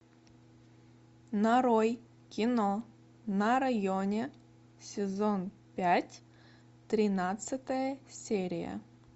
нарой кино на районе сезон пять тринадцатая серия